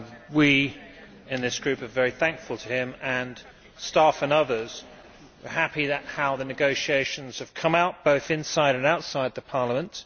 We in this group are very thankful to him, his staff and others. We are happy at how the negotiations have come out, both inside and outside Parliament.